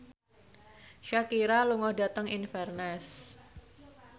Shakira lunga dhateng Inverness